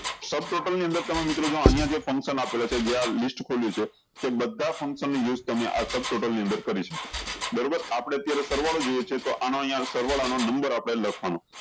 sub total ની અંદર તમે મિત્રો જો અયીયા જો function આપેલા છે જે આ list ખોલ્યું છે તે બધા function ની list તમને આ sub total ની અંદર કરી શકો બરોબર આપળે અત્યારે સરવાળો જોયીયે છે તો આનો અહિયા સરવાળ આમા આપળે લખ્યે